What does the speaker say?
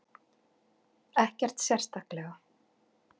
Ekkert sérstaklega.